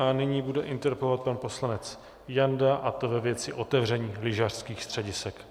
A nyní bude interpelovat pan poslanec Janda, a to ve věci otevření lyžařských středisek.